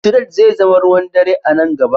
Tired zai zama ruwan dare a nan gaba.